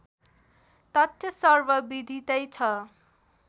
तथ्य सर्वविधितै छ